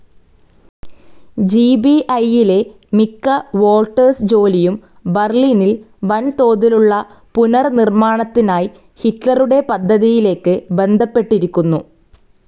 ജിബിഐയിലെ മിക്ക വോൾട്ടേഴ്സ് ജോലിയും ബർലിനിൽ വൻ തോതിലുള്ള പുനർനിർമ്മാണത്തിനായി ഹിറ്റ്ലറുടെ പദ്ധതിയിലേക്ക് ബന്ധപ്പെട്ടിരിക്കുന്നു.